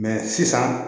sisan